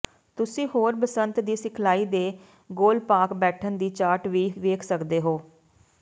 ਤੁਸੀਂ ਹੋਰ ਬਸੰਤ ਦੀ ਸਿਖਲਾਈ ਦੇ ਗੋਲਪਾਕ ਬੈਠਣ ਦੀ ਚਾਰਟ ਵੀ ਵੇਖ ਸਕਦੇ ਹੋ